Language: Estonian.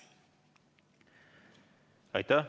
Aitäh!